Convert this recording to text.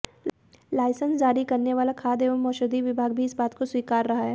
licence जारी करने वाला खाद्य एवं औषधि विभाग भी इस बात को स्वीकार रहा है